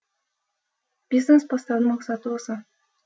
бизнес бастаудың мақсаты осы